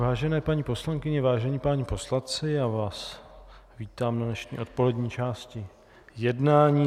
Vážené paní poslankyně, vážení páni poslanci, já vás vítám na dnešní odpolední části jednání.